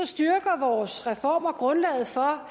styrker vores reformer grundlaget for